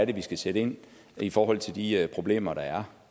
vi skal sætte ind i forhold til de problemer der er